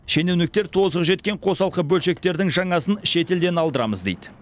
шенеуніктер тозығы жеткен қосалқы бөлшектердің жаңасын шетелден алдырамыз дейді